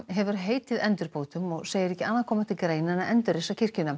hefur heitið endurbótum og segir ekki annað koma til greina en að endurreisa kirkjuna